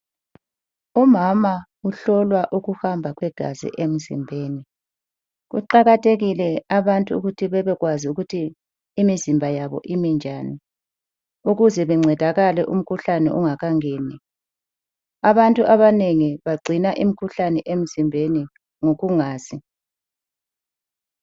Umama uhlolwa ukuhamba kwegazi emzimbeni kuqakathekile abantu ukuthi bebekwazi ukuthi imizimba yabo imi njani, ukuze bencedakale umkhuhlane ungakangeni, abantu abanengi bagcina umkhuhlane emzimbeni ngokungazi.